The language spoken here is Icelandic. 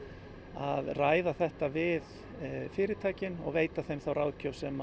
að ræða þetta við fyrirtækin og veita þeim þá ráðgjöf sem